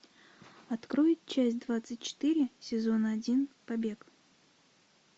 открой часть двадцать четыре сезон один побег